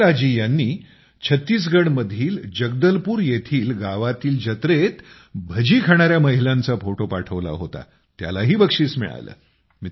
रुमेला जी ह्यांनी छत्तीसगडमधील जगदलपूर येथील गावातील जत्रेत भजी खाणाऱ्या महिलांचा फोटो पाठवला होता त्यालाही बक्षीस मिळाले